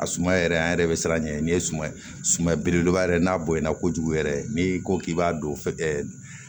A suma yɛrɛ an yɛrɛ bɛ siran nin ye suma ye suman belebeleba yɛrɛ n'a bonyana kojugu yɛrɛ n'i ko k'i b'a don fɛ